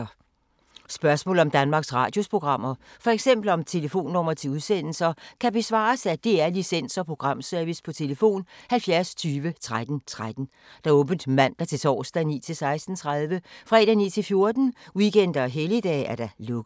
Spørgsmål om Danmarks Radios programmer, f.eks. om telefonnumre til udsendelser, kan besvares af DR Licens- og Programservice: tlf. 70 20 13 13, åbent mandag-torsdag 9.00-16.30, fredag 9.00-14.00, weekender og helligdage: lukket.